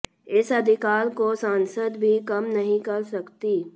इस अधिकार को संसद भी कम नहीं कर सकती